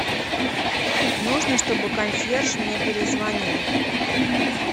нужно чтобы консьерж мне перезвонил